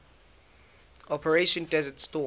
operation desert storm